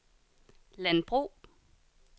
landbrug